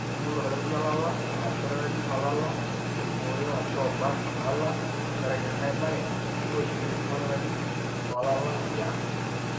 ore teningoru oldakitari olala ashu oldakitari olala oiboyo ashu obak ilala tenkaraki engae bae, toshoki esimu oldakitari lolala liang.